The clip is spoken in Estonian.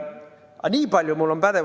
Aga nii palju mul on pädevust.